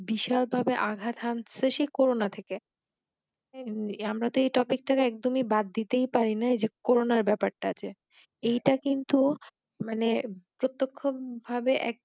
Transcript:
বিশালভাবে আঘাত আনছে সেই Corona থেকে আমরা তো এই Topic টা একদমই বাদদিতেই পারিনা Corona র ব্যাপার টা যে এইটা কিন্তু মানে প্রত্যক্ষভাবে এক